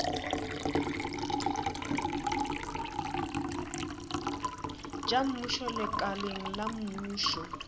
tša mmušo lekaleng la mmušo